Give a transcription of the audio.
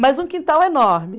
Mas um quintal enorme.